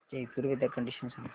Jaipur weather condition सांगा